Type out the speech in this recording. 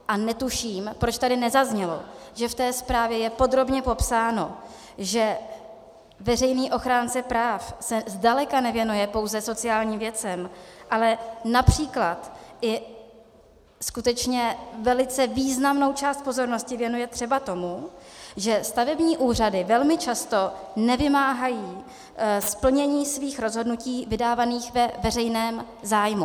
A netuším, proč tady nezaznělo, že v té zprávě je podrobně popsáno, že veřejný ochránce práv se zdaleka nevěnuje pouze sociálním věcem, ale například i skutečně velice významnou část pozornosti věnuje třeba tomu, že stavební úřady velmi často nevymáhají splnění svých rozhodnutí vydávaných ve veřejném zájmu.